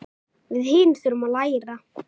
Við hin þurfum að læra.